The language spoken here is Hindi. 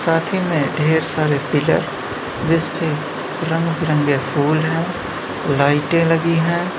साथ ही में ढेर सारे पिलर जिस पे रंग बिरंगे फूल हैंलाइटें लगी हैं।